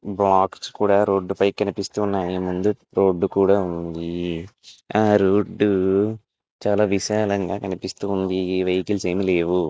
Box కూడా రోడ్డుపై కనిపిస్తున్నాయి ముందు రోడ్డు కూడా ఉంది చాలా విషయాలంగా కనిపిస్తుంది ఈ వెహికల్స్ ఏమీ లేవు.